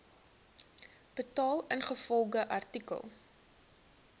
betaal ingevolge artikel